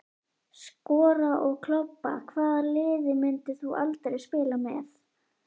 Skora og klobba Hvaða liði myndir þú aldrei spila með?